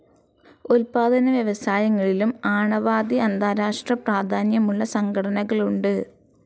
ഉത്പാതനവ്യവസായങ്ങളിലും ആണാവതി അന്താരഷ്ട്ര പ്രാധാന്യമുള്ള സംഘടനകളുണ്ട്.